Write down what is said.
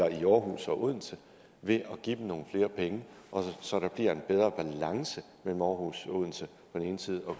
i aarhus og odense ved at give dem nogle flere penge så der bliver en bedre balance mellem aarhus og odense på den ene side og